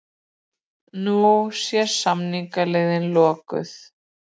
Nú sé samningaleiðin lokuð